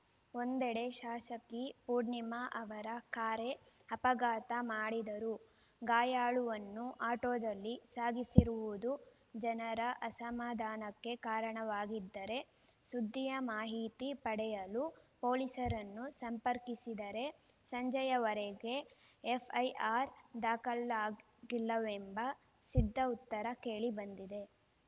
ಒಂದೆಡೆ ಶಾಸಕಿ ಪೂರ್ಣಿಮಾ ಅವರ ಕಾರೇ ಅಪಘಾತ ಮಾಡಿದರೂ ಗಾಯಾಳುವನ್ನು ಆಟೋದಲ್ಲಿ ಸಾಗಿಸಿರುವುದು ಜನರ ಅಸಮಾಧಾನಕ್ಕೆ ಕಾರಣವಾಗಿದ್ದರೆ ಸುದ್ದಿಯ ಮಾಹಿತಿ ಪಡೆಯಲು ಪೊಲೀಸರನ್ನು ಸಂಪರ್ಕಿಸಿದರೆ ಸಂಜೆಯವರೆಗೂ ಎಫ್‌ಐಆರ್‌ ದಾಖಲಾಗಿಲ್ಲವೆಂಬ ಸಿದ್ಧ ಉತ್ತರ ಕೇಳಿ ಬಂದಿದೆ